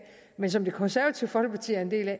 men som det konservative folkeparti er en del af